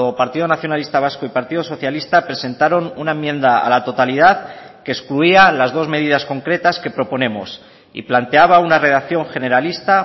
partido nacionalista vasco y partido socialista presentaron una enmienda a la totalidad que excluía las dos medidas concretas que proponemos y planteaba una redacción generalista